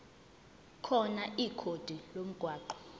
khona ikhodi lomgwaqo